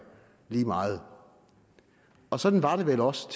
lige meget og sådan var det vel også